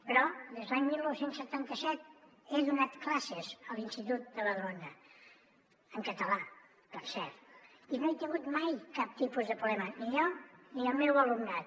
però des de l’any dinou setanta set he donat classes a l’institut de badalona en català per cert i no he tingut mai cap tipus de problema ni jo ni el meu alumnat